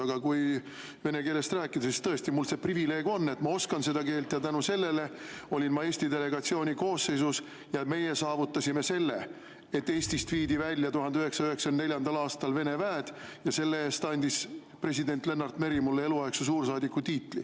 Aga kui vene keelest rääkida, siis mul on tõesti see privileeg, et ma oskan seda keelt ja tänu sellele olin ma Eesti delegatsiooni koosseisus ja meie saavutasime selle, et Eestist viidi 1994. aastal välja Vene väed, ja selle eest andis president Lennart Meri mulle eluaegse suursaadiku tiitli.